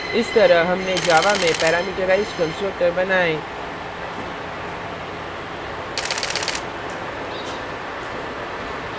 इस तरह हमने java में parameterised constructor बनाए